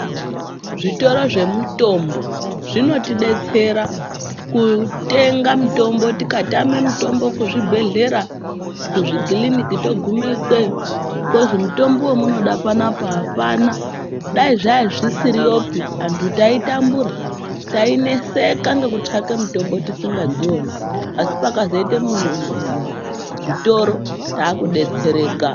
Zvitoro zvemutombo zvinotibetsera kutenga mitombo tikamwe mitombo kuzvibhedhlera kuzvikiriniki togume ikweyo tozi mutombo wamunode panapa apana dai zvaya zvisiriyo pii andu taitambura tainetseka ngokutsvake mutombo tisingadzioni asi pakazoite zvitoro takubetseraka.